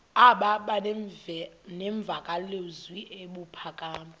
aba nemvakalozwi ebuphakama